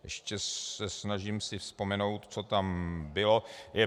Ještě se snažím si vzpomenout, co tam bylo.